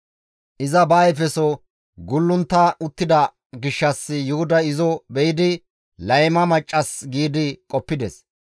Iza ba ayfeso gulluntta uttida gishshas Yuhuday izo be7idi layma maccas giidi qoppides.